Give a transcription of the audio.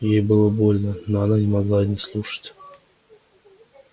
ей было больно но она не могла не слушать